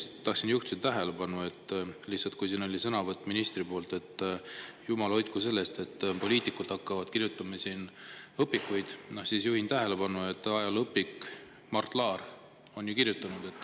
Ma lihtsalt tahtsin juhtida tähelepanu – minister siin, jumal hoidku selle eest, et poliitikud hakkavad õpikuid kirjutama –, et Mart Laar on ju ajalooõpiku kirjutanud.